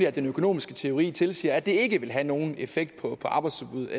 at den økonomiske teori tilsiger at det ikke vil have nogen effekt på arbejdsudbud